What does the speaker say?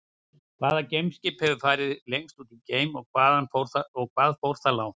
Hvaða geimskip hefur farið lengst út í geiminn og hvað fór það langt?